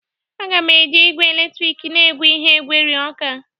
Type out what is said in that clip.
A ga m- eji igwe eletrik na-egwe ihe gwerie ọka